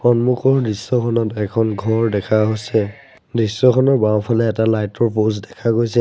সন্মুখৰ দৃশ্যখনত এখন ঘৰ দেখা হৈছে। দৃশ্যখনৰ বাওঁফালে এটা লাইট ৰ পোস্ত দেখা গৈছে।